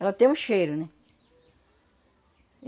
Ela tem um cheiro, né?